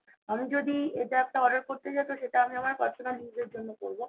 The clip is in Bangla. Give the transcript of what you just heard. আমি যদি এটা একটা order করতে যাই তো সেটা আমি আমার personal use এর জন্য করবো